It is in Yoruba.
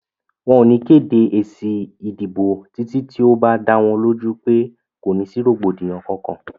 Wọ́n ò ní kéde èsì ìdìbò títí tí ó bá dá wọn lójú pé kò ní sí rògbòdìyàn Kankan.